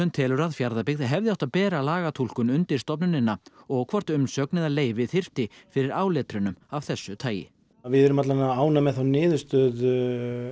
telur að Fjarðabyggð hefði átt að bera lagatúlkun undir stofnunina og hvort umsögn eða leyfi þyrfti fyrir áletrunum af þessu tagi við erum ánægð með þá niðurstöðu